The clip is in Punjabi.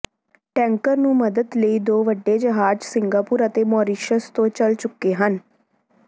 ਟੈਂਕਰ ਨੂੰ ਮਦਦ ਲਈ ਦੋ ਵੱਡੇ ਜਹਾਜ਼ ਸਿੰਗਾਪੁਰ ਅਤੇ ਮਾਰੀਸ਼ਸ ਤੋਂ ਚੱਲ ਚੁੱਕੇ ਹਨ